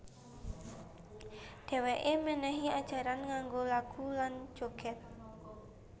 Dhèwèké mènèhi ajaran nganggo lagu lan jogèd